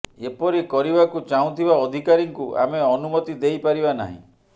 ଏପରି କରିବାକୁ ଚାହୁଁଥିବା ଅଧିକାରୀଙ୍କୁ ଆମେ ଅନୁମତି ଦେଇ ପାରିବା ନାହିଁ